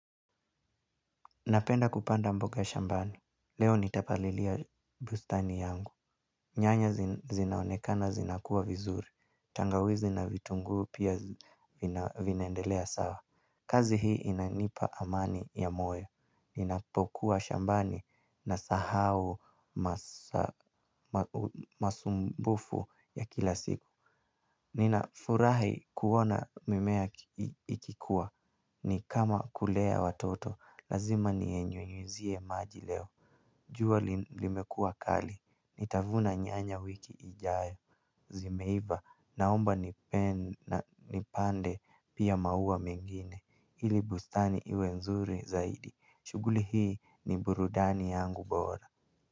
Napenda kupanda mboga shambani, leo nitapalilia bustani yangu, nyanya zinaonekana zinakuwa vizuri, tangawizi na vitunguu pia vinaendelea sawa. Kazi hii inanipa amani ya moyo ninapokuwa shambani nasahau masumbufu ya kila siku. Ninafurahi kuona mimea ikikua ni kama kulea watoto lazima niya nyunyuzie maji leo. Jua limekua kali, nitavuna nyanya wiki ijayo. Zimeiva naomba nipande pia maua mengine ili bustani iwe nzuri zaidi, shughuli hii ni burudani yangu bora.